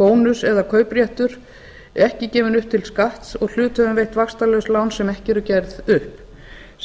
bónus eða kaupréttur er ekki gefinn upp til skatts og hlutaðeigendum veitt vaxtalaus lán sem ekki eru gerð upp